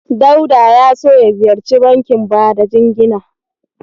Dauda ya so ya ziyarci bankin bada jingina.